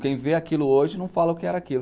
Quem vê aquilo hoje não fala o que era aquilo.